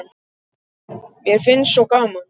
Mér finnst svo gaman!